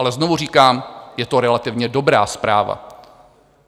Ale znovu říkám, je to relativně dobrá zpráva.